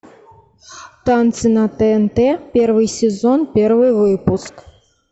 танцы на тнт первый сезон первый выпуск